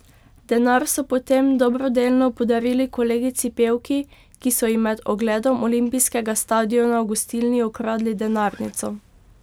Denar so potem dobrodelno podarili kolegici pevki, ki so ji med ogledom olimpijskega stadiona v gostilni ukradli denarnico.